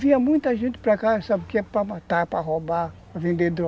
Vinha muita gente para cá, sabe, que era para matar, para roubar, para vender droga.